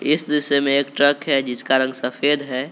इस दृश्य में एक ट्रक है जिसका रंग सफेद है।